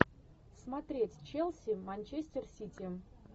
смотреть челси манчестер сити